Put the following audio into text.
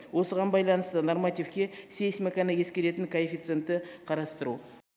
осыған байланысты нормативке сейсмиканы ескеретін коэффициентті қарастыру